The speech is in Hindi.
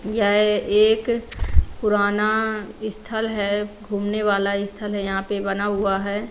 यह एक पुराना स्थल है घूमने वाला स्थल है यहां पे बना हुआ है।